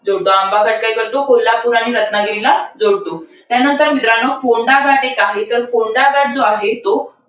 जोडतो. आंबाघाट काय करतो? कोल्हापूर आणि रत्नागिरीला जोडतो. त्यानंतर मित्रांनो, कोंढा घाट एक आहे. तर कोंढा घाट जो आहे तो,